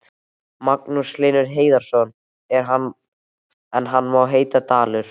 Magnús Hlynur Hreiðarsson: En hann má heita Dalur?